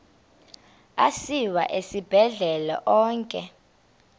asiwa esibhedlele onke